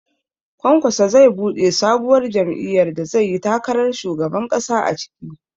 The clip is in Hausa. Kwankwaso zai buɗe sabuwar jam'iyyar da zai yi takarar shugaban ƙasa a ciki